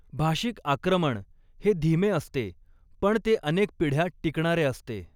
भाषिक आक्रमण हे धीमे असते, पण ते अनेक पिढ्या टिकणारे असते.